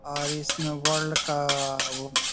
और इसमें वर्ल्ड का वो--